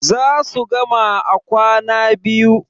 za su gama a kwana biyu